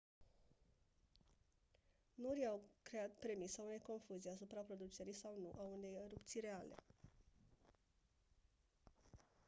norii au creat premisa unei confuzii asupra producerii sau nu a unei erupții reale